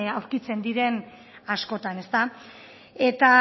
aurkitzen diren askotan eta